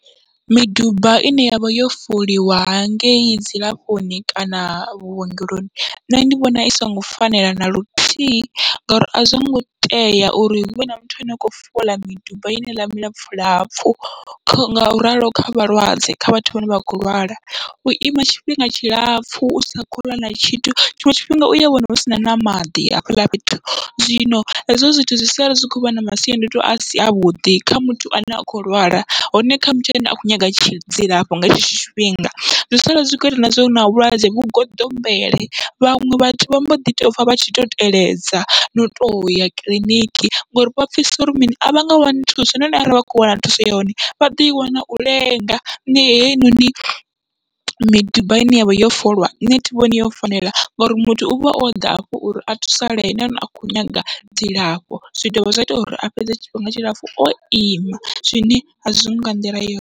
Miduba ine yavha yo foliwa hangeyi dzilafhoni kana vhuongeloni, nṋe ndi vhona i songo fanela naluthihi ngauri azwongo tea uri huvhe na muthu ane a kho fola miduba heneiḽa milapfhu lapfhu, ngauralo kha vhalwadze kha vhathu vhane vha kho lwala uima tshifhinga tshilapfhu usa kho ḽa na tshithu, tshiṅwe tshifhinga uya wana husina na maḓi hafhaḽa fhethu. Zwino hezwo zwithu zwi sala zwi khovha na masiandoitwa asi avhuḓi kha muthu ane a kho lwala hone kha muthu ane a kho nyaga dzilafho nga tshetsho tshifhinga, zwi sala zwi kho ita na zwa uri na vhulwadze vhu goḓombele vhaṅwe vhathu vha mboḓi to pfha vha tshi to teledza no to ya kiḽiniki ngori vha pfhesesa uri mini avha nga wani thuso, hone arali vha kho wana thuso ya hone vha ḓo i wana u lenga nṋe heinoni miduba ine yavha yo folwa nṋe thi vhoni yo fanela ngauri muthu uvha oḓa hafho uri a thusalee, hone akho nyaga dzilafho zwi dovha zwa ita uri a fhedze tshifhinga tshilapfhu o ima zwine azwiho nga nḓila yone.